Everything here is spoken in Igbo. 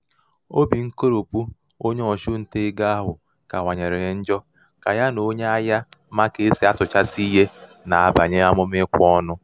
obì nkoròpù onye ọchụntaegō ahụ̀ onye ọchụntaegō ahụ̀ kawànyèrè njọ kà ya nà onye ahiạ̄ yā mā kà e sì atụ̀chasị ihē nà-abànye àmụ̀mà ikwe ọnụ